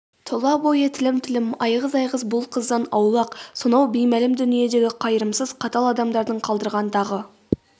тұла бойы тілім-тілім айғыз-айғыз бұл қыздан аулақ сонау беймәлім дүниедегі қайырымсыз қатал адамдардың қалдырған дағы